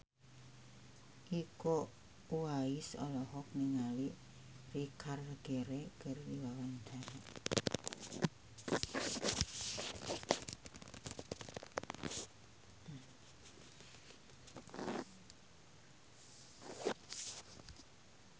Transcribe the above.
Iko Uwais olohok ningali Richard Gere keur diwawancara